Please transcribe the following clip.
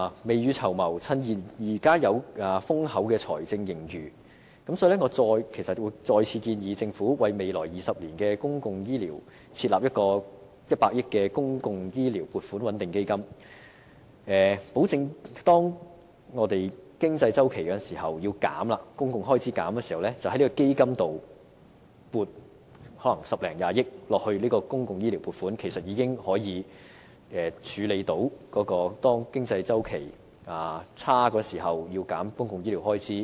未雨綢繆，趁現在有豐厚的財政盈餘，我再次建議政府為未來20年的公共醫療設立100億元的"公共醫療撥款穩定基金"，保證當我們因經濟周期而需要削減公共開支時，可以由這基金撥款十多二十億元作公共醫療撥款，這樣做其實已可以處理經濟周期轉差時要削減公共醫療開支的情況。